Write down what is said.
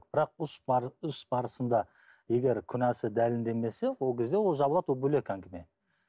бірақ іс барысында егер күнәсі дәлелденбесе ол кезде ол жабылады ол бөлек әңгіме